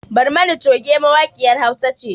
Barmani coge mawaƙiyar hausa ce